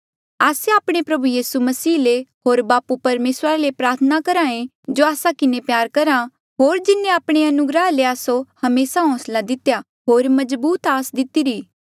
आस्से आपणे प्रभु यीसू मसीह ले होर बापू परमेसरा ले प्रार्थना करहे जो आस्सा किन्हें प्यार करहा होर जिन्हें आपणे अनुग्रहा ले आस्सो हमेसा होंसला दितेया होर मजबूत आस दितीरी